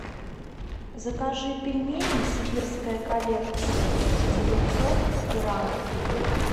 закажи пельмени сибирская коллекция девятьсот грамм